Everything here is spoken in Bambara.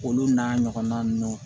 Olu n'a ɲɔgɔnna ninnu